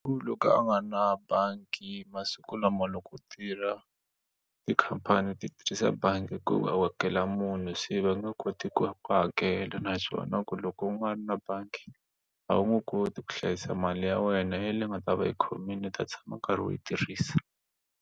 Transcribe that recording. Ku loko a nga ri na bangi masiku lama loko u tirha tikhampani ti tirhisa bangi ku munhu se va nge koti ku ya ku hakela naswona ku loko na bangi a wu nge koti ku hlayisa mali ya wena ya leyi nga ta va yi khomile u ta tshama u karhi u yi tirhisa.